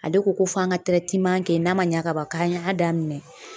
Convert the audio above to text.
Ale ko ko f'an ka kɛ n'a ma ɲa ka ban k'an y'a daminɛ